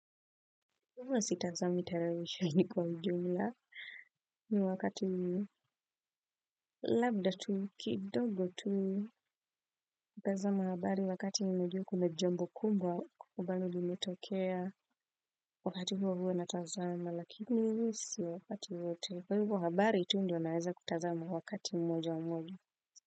Huwa sitazami televisheni kwa ujumla ni wakati labda tu kidogo tu natazama habari wakati ninajua kuna jambo kubwa ambalo limetokea wakati huo huwa natazama lakini si wakati wote kwa hivo habari tu ndio naweza kutazama wakati mmoja mmoja.